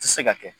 Tɛ se ka kɛ